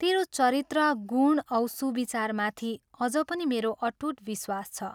तेरो चरित्र, गुण औ सुविचारमाथि अझ पनि मेरो अटूट विश्वास छ।